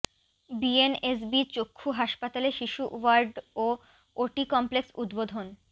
BNSB চক্ষু হাসপাতালে শিশু ওয়ার্ড ও ওটি কমপ্লেক্স উদ্বোধন